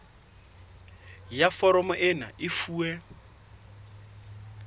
ya foromo ena e fuwe